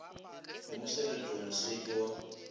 mo seretong se ke wa